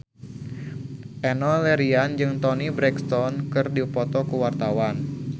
Enno Lerian jeung Toni Brexton keur dipoto ku wartawan